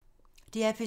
DR P2